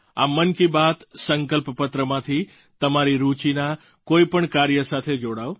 આ મન કી બાત સંકલ્પપત્રમાંથી તમારી રુચિના કોઈ પણ કાર્ય સાથે જોડાવ